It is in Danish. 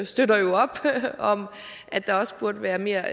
støtter jo op om at der også burde være mere